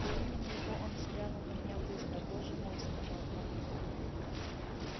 при имени его он взглянул на меня быстро боже мой сказал он